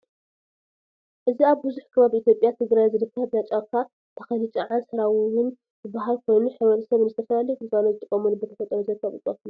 እዚ አብ ብዙሕ ከባቢ ኢትዮጵያ ትግራይ ዝርከብ ናይ ጫካ ተኽሊ ጨዓን ሰራውን ዝበሃል ኮይኑ ሕብረተሰብ ንዝተፈላለዩ ግልጋሎት ዝጥቀመሉ ብተፈጥሮ ዝርከቡ እፅዋት እዮም።